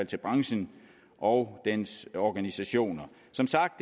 til branchen og dens organisationer som sagt